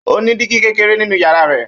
Ó ní dígí kékeré nínú yàrá rẹ̀.